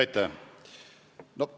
Aitäh!